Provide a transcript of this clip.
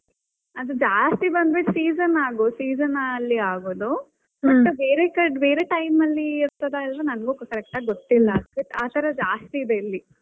ಅದು ಜಾಸ್ತಿ ಬಂದು ಬಿಟ್ season ಆಗೋದ್ season ಅಲ್ಲೇ ಆಗೋದು but ಬೇರೆ ಬೇರೆ time ಅಲ್ಲಿ ಇರ್ತದಾ ಇಲ್ವಾ ನಂಗು correct ಆಗ್ ಗೊತ್ತಿಲ್ಲಾ but ಆತರ ಜಾಸ್ತಿ ಇದೆ ಇಲ್ಲಿ.